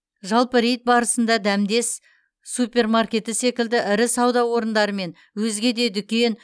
жалпы рейд барысында дәмдес супермаркеті секілді ірі сауда орындары мен өзге де дүкен